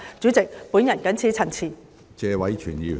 主席，我謹此陳辭。